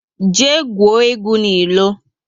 Jee gwuo egwu n'ilo! 6